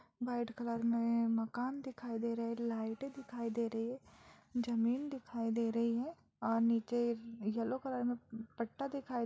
white colour में मकान दिखाई दे रहे हैं लाइटें दिखाई दे रही हैं जमीन दिखाई दे रही है और नीचे येलो कलर में पट्टा दिखाई --